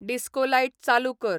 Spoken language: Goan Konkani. डिस्को लायट चालू कर